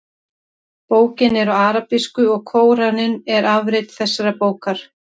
Bókin er á arabísku og Kóraninn er afrit þessarar bókar.